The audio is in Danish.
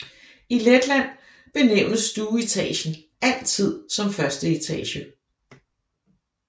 I Letland benævnes stueetagen altid som første etage